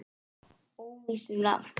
Óvíst um nafn.